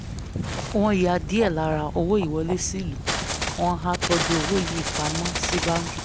wọ́n ya díẹ̀ lára owó wọlé sílù wọ́n á tọ́jú owó yìí pa mọ́ sí báńkì